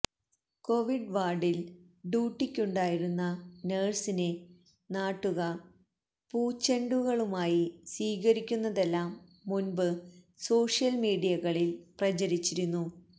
Covid വാര്ഡില് ഡ്യൂട്ടിക്കുണ്ടായിരുന്ന നേഴ്സിനെ നാട്ടുകാര് പൂച്ചെണ്ടുകളുമായി സ്വീകരിക്കുന്നതെല്ലാം മുന്പ് സോഷ്യല് മീഡിയകളില് പ്രചരിച്ചിരുന്നു